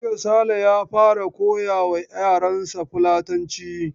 Jiya Sale ya fara koya wa yaransa Fulatanci.